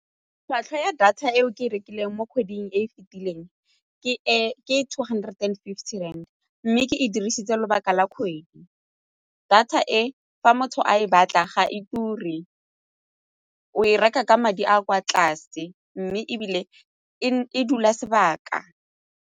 Tlhwatlhwa ya data eo ke e rekileng mo kgweding e fitileng ke two hundred and fifty rand mme ke e dirisitse lobaka la kgwedi. Data e fa motho a e batla ga e ture o e reka ka madi a kwa tlase mme ebile e dula sebaka.